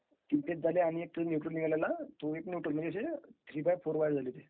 is not clear